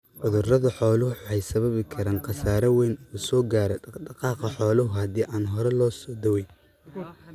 Cudurada xooluhu waxay sababi karaan khasaare wayn oo soo gaadha dhaq-dhaqaaqa xoolaha hadii aan hore loo dawayn.